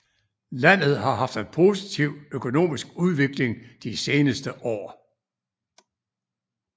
Landet har haft en positiv økonomisk udvikling de seneste år